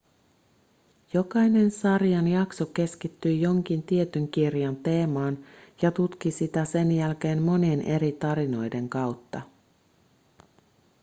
jokainen sarjan jakso keskittyi jonkin tietyn kirjan teemaan ja tutki sitä sen jälkeen monien eri tarinoiden kautta